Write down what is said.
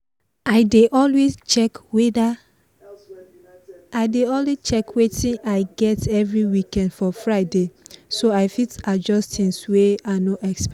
i dey always check watin i get everyweek for friday so i fit adjust things wey i no expect